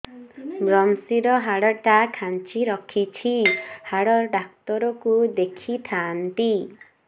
ଵ୍ରମଶିର ହାଡ଼ ଟା ଖାନ୍ଚି ରଖିଛି ହାଡ଼ ଡାକ୍ତର କୁ ଦେଖିଥାନ୍ତି